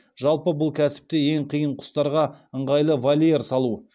жалпы бұл кәсіпте ең қиыны құстарға ыңғайлы вольер салу